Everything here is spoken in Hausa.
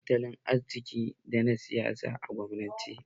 Babu ƴancin tattalin arziki da na siyasa a kwamunanci